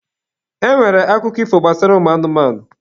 E nwere akụkọ ifo gbasara ụmụ anụmanụ.